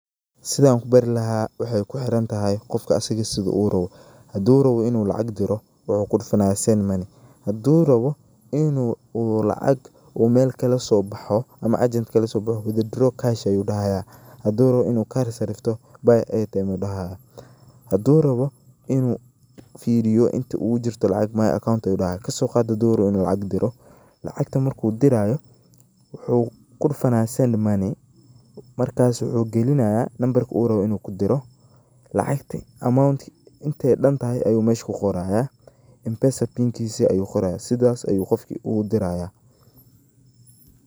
Sidhaan kubaari lahaa waxaay kuhirantahay qofka asaga sidha uu rabaa, haduu raba inu lacag diro waxuu kudufanaya send money, hadu rabo inu lacag mel kalasoboxo ama agent kalasoboxo withdraw cash ayu dahaya, hadu rabo inu kar sarifto buy airtime u dahaya, hadu rawo inu firiyo inta ugu jirto lacag my account ayu dahaya, kasoqaad hadi uu rawo inu uu lacag diro, lacagta marku dirayoo wuxu kudufanaya send money markas wuxu galinaya nambarka uu raba inu kudiro lacagta amountka intay dantahay ayu mesha kuqorayaa Mpesa pinkisa ayu qorayaa sidhasi ayu qofki ugu dirayaa.